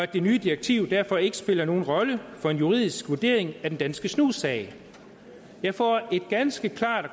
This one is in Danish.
det nye direktiv derfor ikke spiller nogen rolle for en juridisk vurdering af den danske snus sag jeg får et ganske